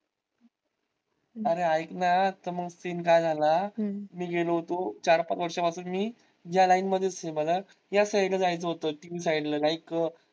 अरे ऐक ना मग scene काय झाला मी गेलो होतो चार पाच वर्षा पासून मी या line मधेच आहे. मला या side ला जायचं होत tv side ला like